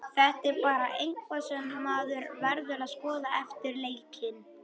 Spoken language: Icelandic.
Þetta er bara eitthvað sem maður verður að skoða eftir leikinn.